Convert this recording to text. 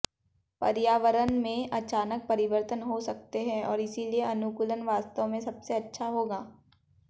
पर्यावरण में अचानक परिवर्तन हो सकते हैं और इसलिए अनुकूलन वास्तव में सबसे अच्छा होगा